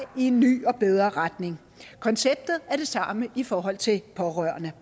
i en ny og bedre retning konceptet er det samme i forhold til pårørende